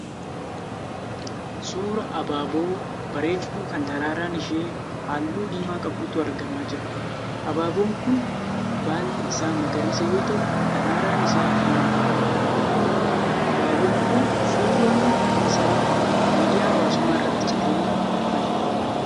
Suuraa abaaboo bareedduu kan daraaraan ishee halluu diimaa qabdutu argamaa jira. Abaaboon kun baalli isaa magariisa yoo ta'u daraaraan isaa diimaadha. Abaaboon kun suuraan isaa miidiyaa hawasummaa irraa citee ba'e.